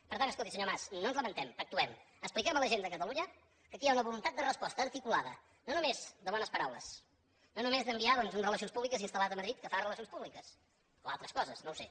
per tant escolti senyor mas no ens lamentem actuem expliquem a la gent de catalunya que aquí hi ha una voluntat de resposta articulada no només de bones paraules no només d’enviar doncs un relacions públiques instal·lat a madrid que fa relacions públiques o altres coses no ho sé